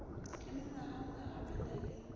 le mengwagangwaga ba na le